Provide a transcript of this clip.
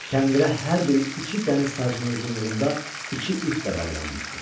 Kəndirə hər biri iki dəniz sajının uzunluğunda iki ip də bağlanmışdı.